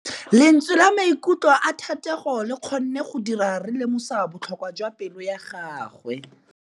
Lentswe la maikutlo a Thategô le kgonne gore re lemosa botlhoko jwa pelô ya gagwe.